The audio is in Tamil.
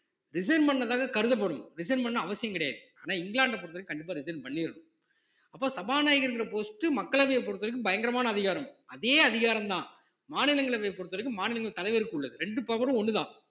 resign பண்ணதாக கருதப்படும் resign பண்ணணும்னு அவசியம் கிடையாது ஆனா இங்கிலாந்த பொறுத்தவரைக்கும் கண்டிப்பா resign பண்ணியிருணும் அப்போ சபாநாயகருங்கிற post மக்களவையை பொறுத்தவரைக்கும் பயங்கரமான அதிகாரம் அதே அதிகாரம்தான் மாநிலங்களவையை பொறுத்தவரைக்கும் மாநிலங்களவை தலைவருக்கு உள்ளது ரெண்டு power ம் ஒண்ணுதான்